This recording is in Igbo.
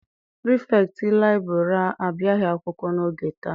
Pirifetktị liburary abịaghị akwụkwọ n'oge taa.